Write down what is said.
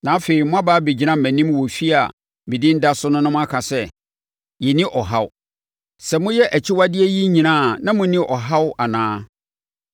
na afei, moaba abɛgyina mʼanim wɔ efie a medin da so na moaka sɛ, “Yɛnni ɔhaw,” sɛ moyɛ akyiwadeɛ yi nyinaa a na monni ɔhaw anaa?